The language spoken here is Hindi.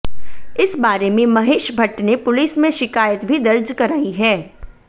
इस बारे में महेश भट्ट ने पुलिस में शिकायत भी दर्ज कराई है